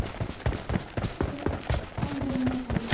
Til dæmis fylgir álfur honum Helga.